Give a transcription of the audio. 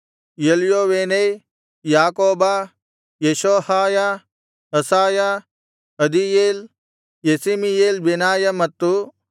ಎಲ್ಯೋವೇನೈ ಯಾಕೋಬ ಯೆಷೋಹಾಯ ಅಸಾಯ ಅದೀಯೇಲ್ ಯೆಸೀಮಿಯೇಲ್ ಬೆನಾಯ ಮತ್ತು